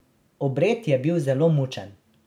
Obred je bil zelo mučen.